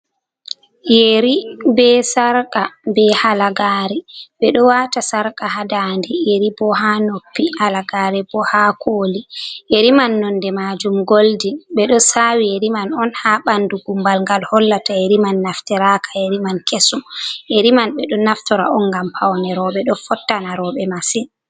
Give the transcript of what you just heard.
Yeri be sarqa be halagare, ɓeɗo wata sarqa ha dande yeri bo ha noppi alagare bo ha koli yeri man nonde majum goldi ɓeɗo sawi yeri man on ha ɓandu gumbal gal hollata yeri man naftiraka yeri man kesum yeri man ɓeɗo naftora on gam pawne roɓe ɗo fottana roɓɓe massin.